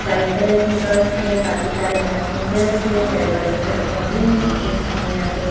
white colour की bus हैं काफी सारे पैसेंजर्स हैं बड़े - बड़े पेड़ पौधे हैं एक हमें यहाँ पे --